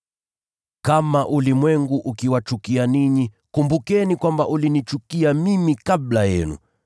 “Kama ulimwengu ukiwachukia ninyi, kumbukeni kwamba ulinichukia mimi kabla yenu.